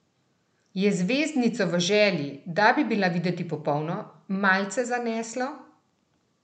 Je zvezdnico v želji, da bi bila videti popolno, malce zaneslo?